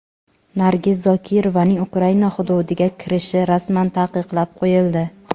Nargiz Zokirovaning Ukraina hududiga kirishi rasman taqiqlab qo‘yildi.